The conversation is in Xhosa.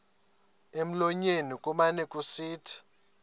emlonyeni kumane kusithi